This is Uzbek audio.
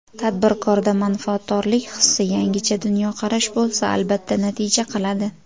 Tadbirkorda manfaatdorlik hissi, yangicha dunyoqarash bo‘lsa, albatta natija qiladi.